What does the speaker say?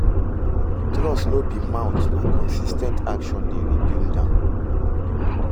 Trust no bi by mouth, na consis ten t action dey rebuild am